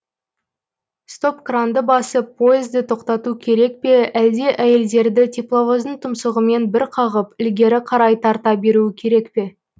стоп кранды басып пойызды тоқтату керек пе әлде әйелдерді тепловоздың тұмсығымен бір қағып ілгері қарай тарта беруі керек пе